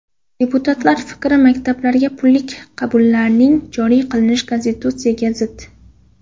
Deputatlar fikri: Maktablarga pullik qabullarning joriy qilish Konstitutsiyaga zid!.